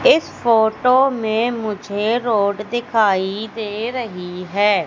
इस फोटो मे मुझे रोड दिखाई दे रही है।